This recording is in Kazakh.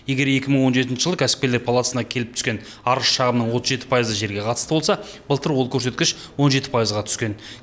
егер екі мың он жетінші жылы кәсіпкерлер палатасына келіп түскен арыз шағымның отыз жеті пайызы жерге қатысты болса былтыр ол көрсеткіш он жеті пайызға түскен